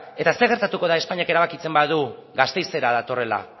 eta zer gertatuko da espainiak erabakitzen badu gasteizera datorrela